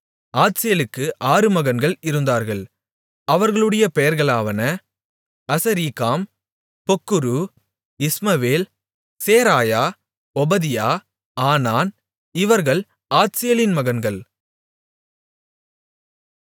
ஆத்சேலுக்கு ஆறு மகன்கள் இருந்தார்கள் அவர்களுடைய பெயர்களாவன Azrikam Bocheru Ishmael Sheariah Obadiah Hanan இவர்கள் ஆத்சேலின் மகன்கள்